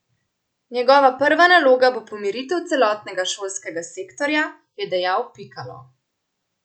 Njegova prva naloga bo pomiritev celotnega šolskega sektorja, je dejal Pikalo.